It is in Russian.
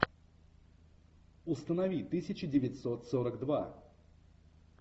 установи тысяча девятьсот сорок два